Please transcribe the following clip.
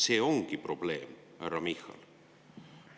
See ongi probleem, härra Michal.